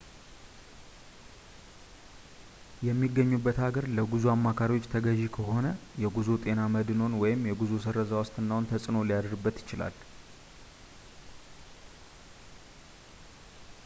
የሚጎበኙት ሀገር ለጉዞ አማካሪዎች ተገዢ ከሆነ የጉዞ ጤና መድህንዎ ወይም የጉዞዎ ስረዛ ዋስትናዎ ተጽእኖ ሊያድርበት ይችላል